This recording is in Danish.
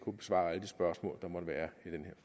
spørgsmål der måtte være i den